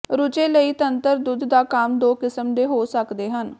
ਰੁਝੇ ਲਈ ਤੰਤਰ ਦੁੱਧ ਦਾ ਕੰਮ ਦੋ ਕਿਸਮ ਦੇ ਹੋ ਸਕਦੇ ਹਨ